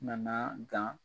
N nan'aa gan